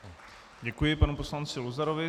Děkuji panu poslanci Luzarovi.